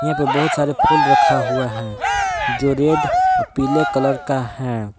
यहां पे बहुत सारे फूल रखा हुआ है जो रेड अह पीले कलर का है।